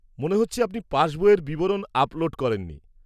মনে হচ্ছে আপনি পাশবইয়ের বিবরণ আপলোড করেননি।